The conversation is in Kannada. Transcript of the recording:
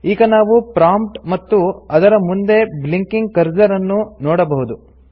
ಈಗ ನಾವು ಪ್ರಾಂಪ್ಟ್ ಮತ್ತು ಅದರ ಮುಂದೆ ಬ್ಲಿಂಕಿಂಗ್ ಕರ್ಸರ್ ಅನ್ನು ನೋಡಬಹುದು